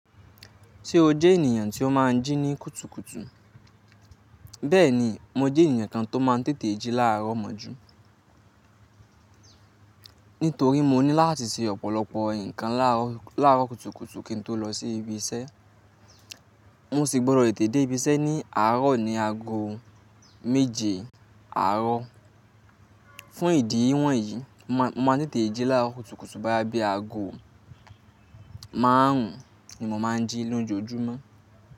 Ṣé o jẹ́ ènìyàn tí ó máa ń jí ní kùtùkùtù? Bẹ́ẹ̀ni, mo jẹ́ ènìyàn kan tó máa ń tètè jí láààrọ̀ mọ́jú. Nítorí mo ní láti ṣe ọ̀pọ̀lọpọ̀ nǹkan láàrọ̀ kùtùkùtù kí n tó lọ sí ibi iṣẹ́. Wọ́n sì gbọdọ̀ tètè dé ibi iṣẹ́ ní àárọ̀ ní ago méje àárọ̀. Fún ìdí wọ̀nyí, mo máa ń tètè jí láàrọ̀ kùtùkùtù boyáá bí ago márùn ni mo máa ń jí lójoojúmọ́.